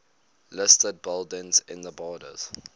listed buildings in the borders